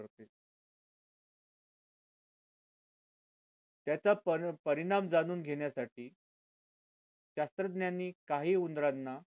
त्याचा परिणाम जाणून घेण्यासाठी शास्त्रज्ञांनी काही उंदरांना